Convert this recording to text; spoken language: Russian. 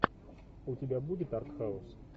у тебя будет артхаус